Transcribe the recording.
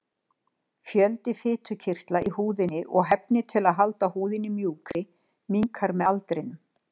Fjöldi fitukirtla í húðinni og hæfnin til að halda húðinni mjúkri minnkar með aldrinum.